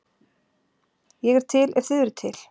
Ég er til, ef þið eruð til.